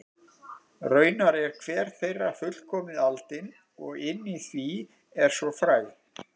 Raunar er hver þeirra fullkomið aldin og inni í því er svo fræ.